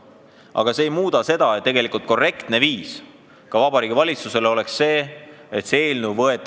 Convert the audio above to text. Aga see ei muuda seda, et korrektne viis oleks see, kui Vabariigi Valitsus võtaks eelnõu tagasi.